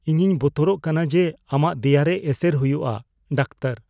ᱤᱧᱤᱧ ᱵᱚᱛᱚᱨᱚᱜ ᱠᱟᱱᱟ ᱡᱮ ᱟᱢᱟᱜ ᱫᱮᱭᱟ ᱨᱮ ᱮᱥᱮᱨ ᱦᱚᱭᱩᱜ ᱟ ᱾ (ᱰᱟᱠᱛᱟᱨ)